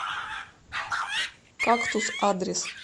кактус адрес